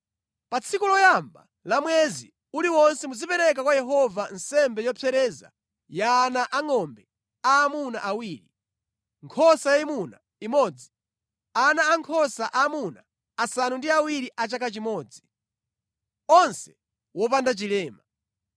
“Pa tsiku loyamba la mwezi uliwonse muzipereka kwa Yehova nsembe yopsereza ya ana angʼombe aamuna awiri, nkhosa yayimuna imodzi, ana ankhosa aamuna asanu ndi awiri a chaka chimodzi, onse wopanda chilema.